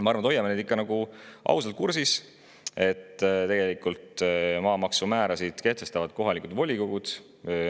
Ma arvan, et hoiame neid ikka ausalt kursis, et tegelikult kehtestavad maamaksumäärad kohalikud volikogud.